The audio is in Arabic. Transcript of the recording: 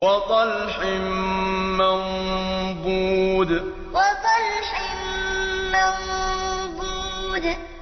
وَطَلْحٍ مَّنضُودٍ وَطَلْحٍ مَّنضُودٍ